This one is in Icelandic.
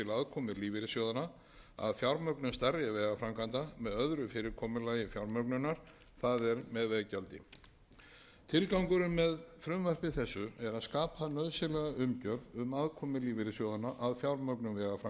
aðkomu lífeyrissjóðanna að fjármögnun stærri vegaframkvæmda með öðru fyrirkomulagi fjármögnunar það er með veggjaldi tilgangurinn með frumvarpi þessu er að skapa nauðsynlega umgjörð um aðkomu lífeyrissjóðanna að fjármögnun